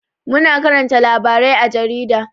Muna karanta labarai à jarida.